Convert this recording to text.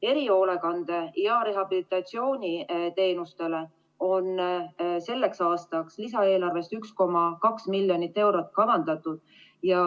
Erihoolekandele ja rehabilitatsiooniteenustele on selleks aastaks kavandatud lisaeelarvest 1,2 miljonit eurot.